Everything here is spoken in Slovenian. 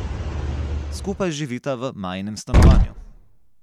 Skupaj živita v Majinem stanovanju.